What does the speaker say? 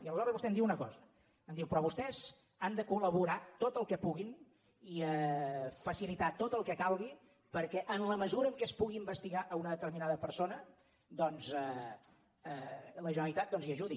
i aleshores vostè em diu una cosa em diu però vostès han de col·laborar tot el que puguin i facilitar tot el que calgui perquè en la mesura que es pugui investigar una determinada persona doncs la generalitat hi ajudi